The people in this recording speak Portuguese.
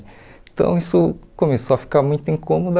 Então, isso começou a ficar muito incômodo.